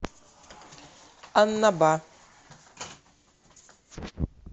аннаба